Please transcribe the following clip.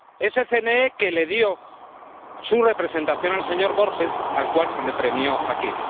ese CNE que le dio su representación al señor Borges, al cual se le premió aquí.